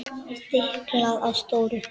Stiklað á stóru